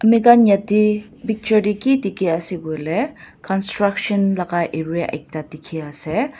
maikhan yatae picture tae ki dikhiase koilae construction laka area ekta dikhiase.